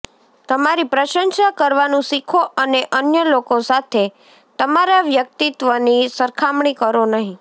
તમારી પ્રશંસા કરવાનું શીખો અને અન્ય લોકો સાથે તમારા વ્યક્તિત્વની સરખામણી કરો નહીં